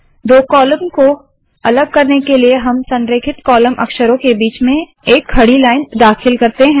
दो कॉलम को अलग करने के लिए हम संरेखित कॉलम अक्षरों के बीच में एक खड़ी लाइन दाखिल करते है